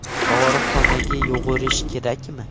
Dorixonaga yugurish kerakmi?